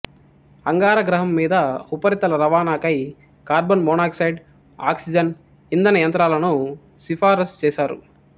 అంగార గ్రహం మీద ఉపరితల రవాణకై కార్బన్ మొనాక్సైడ్ ఆక్సిజన్ ఇంధన యంత్రాలను సిఫారసు చేసారు